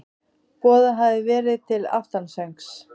Boðað hafði verið til aftansöngs.